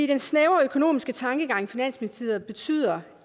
den snævre økonomiske tankegang i finansministeriet betyder